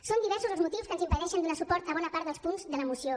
són diversos els motius que ens impedeixen donar suport a bona part dels punts de la moció